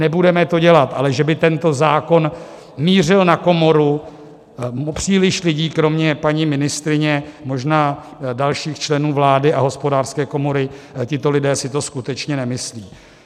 Nebudeme to dělat, ale že by tento zákon mířil na komoru, příliš lidí, kromě paní ministryně, možná dalších členů vlády a Hospodářské komory, tito lidé si to skutečně nemyslí.